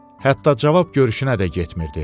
Hətta cavab görüşünə də getmirdi.